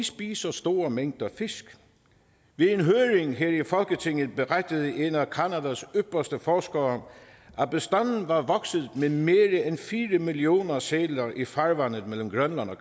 spiser store mængder fisk ved en høring her i folketinget berettede en af canadas ypperste forskere at bestanden var vokset med mere end fire millioner sæler i farvandet mellem grønland og